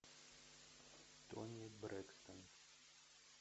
тони брекстон